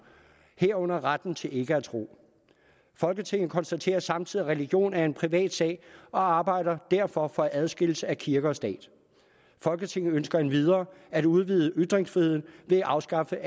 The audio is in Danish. herunder retten til ikke at tro folketinget konstaterer samtidig at religion er en privat sag og arbejder derfor for en adskillelse af kirke og stat folketinget ønsker endvidere at udvide ytringsfriheden ved at afskaffe